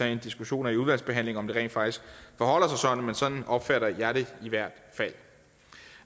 en diskussion i udvalgsbehandlingen om om det rent faktisk forholder sig sådan men sådan opfatter jeg det i hvert fald